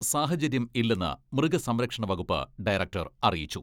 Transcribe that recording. സാഹചര്യം ഇല്ലെന്ന് മൃഗസംരക്ഷണ വകുപ്പ് ഡയറക്ടർ അറിയിച്ചു.